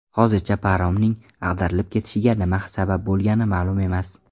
Hozircha paromning ag‘darilib ketishiga nima sabab bo‘lgani ma’lum emas.